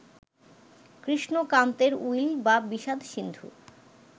কৃষ্ণকান্তের will বা বিষাদ-সিন্ধু